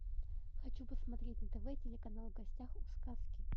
хочу посмотреть на тв телеканал в гостях у сказки